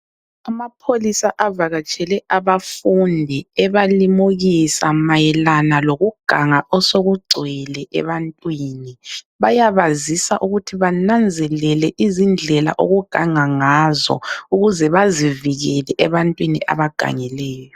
Amapholisa avakatshele abafundi ebelimukisa mayelana lokuganga osekugcwele ebantwini ,bayabazisa ukuthi bananzelele izindlela okugangwa ngazo ukuze bazivikele ebantwini abagangileyo